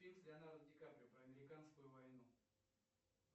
фильм с леонардо ди каприо про американскую войну